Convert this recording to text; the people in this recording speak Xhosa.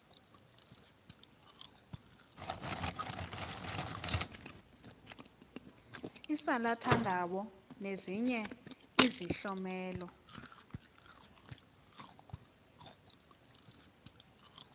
isalathandawo nezinye izihlomelo